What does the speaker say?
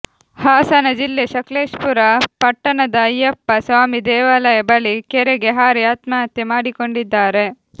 ಹಾಸನ ಜಿಲ್ಲೆ ಸಕಲೇಶಪುರ ಪಟ್ಟಣದ ಅಯ್ಯಪ್ಪ ಸ್ವಾಮಿ ದೇವಾಲಯ ಬಳಿ ಕೆರೆಗೆ ಹಾರಿ ಆತ್ಮಹತ್ಯೆ ಮಾಡಿಕೊಂಡಿದ್ದಾರೆ